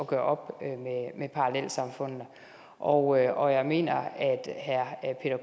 gøre op med parallelsamfundene og jeg og jeg mener at herre